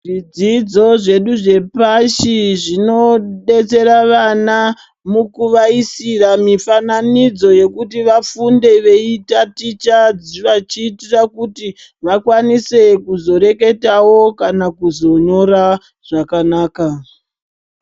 Zvidzidzo zvedu zvepashi zvinodetsera vana mukuvaisira mifananidzo yekuti vafunde veitaticha vachiitira kuti vakwanise kuzoreketawo kana kuzonyora zvakanaka.